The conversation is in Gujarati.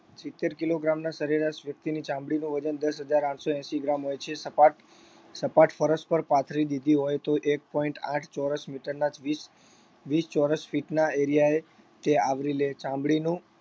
સિત્તેર kilogram ના સરેરાશ વ્યક્તિની ચામડીનું વજન દસ હજાર આઠસો એંશી gram હોય છે. સપાટ સપાટ પરસ પર પાથરી દીધી હોય તો એક point આઠ ચોરસ meter ના વીસ વીસ ચોરસ feet ના area એ તે આવરી લે ચામડીનું